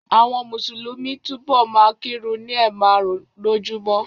Àwọn Mùsùlùmí a túbọ̀ ma kírun ni ẹ̀ márùn-ún lójúmọ́